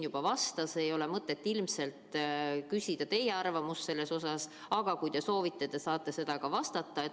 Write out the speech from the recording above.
Ilmselt ei ole mõtet küsida teie arvamust selle kohta, aga kui te soovite, siis võite vastata.